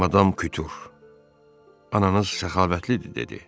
Madam Kutur ananız səxavətlidir, dedi.